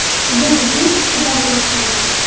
Bu bizning ichki dardimiz ham.